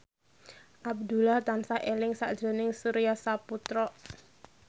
Abdullah tansah eling sakjroning Surya Saputra